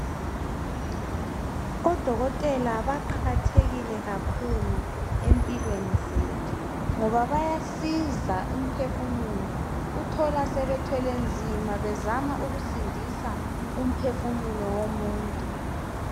Odokotela baqakathekile kakhulu empilweni zethu ngoba bayasiza umphefumulo uthola sebethwele nzima bezama ukusindisa umphefumulo womuntu.